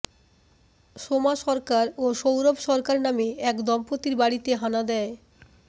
সোমা সরকার ও সৌরভ সরকার নামে এক দম্পতির বাড়িতে হানা দিয়